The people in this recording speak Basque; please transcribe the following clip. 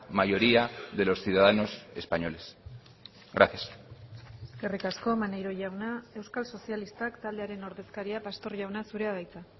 mayoría de los ciudadanos españoles gracias eskerrik asko maneiro jauna euskal sozialistak taldearen ordezkaria pastor jauna zurea da hitza